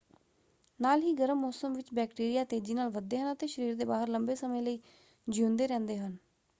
ਨਾਲ ਹੀ ਗਰਮ ਮੌਸਮ ਵਿੱਚ ਬੈਕਟੀਰੀਆਂ ਤੇਜ਼ੀ ਨਾਲ ਵੱਧਦੇ ਹਨ ਅਤੇ ਸਰੀਰ ਦੇ ਬਾਹਰ ਲੰਬੇ ਸਮੇਂ ਲਈ ਜੀਉਂਦੇ ਰਹਿੰਦੇ ਹਨ।